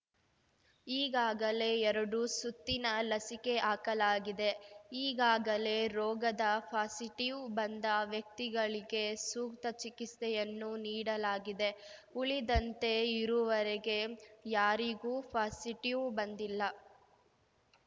ಈಗಾಗಲೇ ಎರಡು ಸುತ್ತಿನ ಲಸಿಕೆ ಹಾಕಲಾಗಿದೆ ಈಗಾಗಲೇ ರೋಗದ ಪಾಸಿಟಿವ್‌ ಬಂದ ವ್ಯಕ್ತಿಗಳಿಗೆ ಸೂಕ್ತ ಚಿಕಿಸ್ತೆಯನ್ನು ನೀಡಲಾಗಿದೆ ಉಳಿದಂತೆ ಇರುವರೆಗೆ ಯಾರಿಗೂ ಪಾಸಿಟಿವ್‌ ಬಂದಿಲ್ಲ